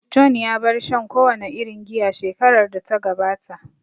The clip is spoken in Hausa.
John ya bar shan kowane irin giya shekarar da ta gabata